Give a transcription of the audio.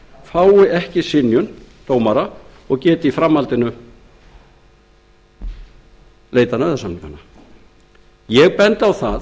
fái ekki synjun dómara um greiðslustöðvun og geti því í framhaldinu leitað nauðasamninga ég bendi á það